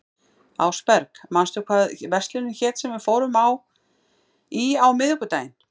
Ásberg, manstu hvað verslunin hét sem við fórum í á miðvikudaginn?